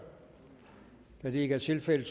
da det ikke er tilfældet